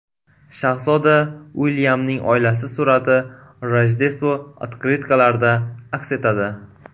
Shahzoda Uilyamning oilasi surati Rojdestvo otkritkalarida aks etadi.